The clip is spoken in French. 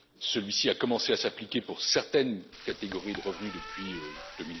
Celui ci a commencé à s'appliquer pour certaines catégories de revenus en